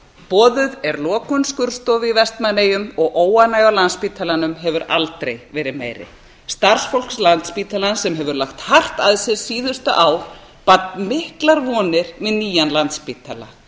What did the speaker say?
boðuð er lokun skurðstofu í vestmannaeyjum og óánægja á landspítalanum hefur aldrei verið meiri starfsfólk landspítalans sem hefur lagt hart að sér síðustu ár batt miklar vonir með nýjan landspítala